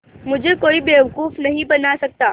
मुझे कोई बेवकूफ़ नहीं बना सकता